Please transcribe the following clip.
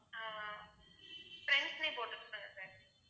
ஆஹ் friends ன்னே போட்டுக் கொடுங்க sir